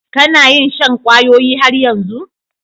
Ka na yin shan kwayoyi har yanzu?